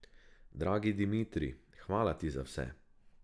Dragi Dimitrij, hvala ti za vse.